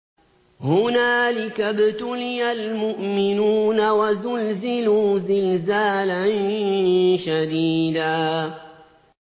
هُنَالِكَ ابْتُلِيَ الْمُؤْمِنُونَ وَزُلْزِلُوا زِلْزَالًا شَدِيدًا